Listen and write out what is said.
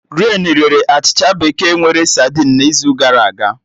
Renii rere achịcha bekee nwere sadinu n'izu gara aga